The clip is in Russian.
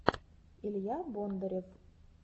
илья бондарев